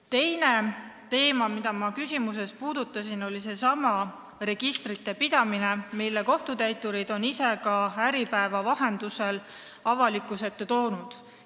Teine teema, mida ma ka oma küsimuses puudutasin, on registrite pidamine, millega seotud probleemid on kohtutäiturid ise Äripäeva vahendusel avalikkuse ette toonud.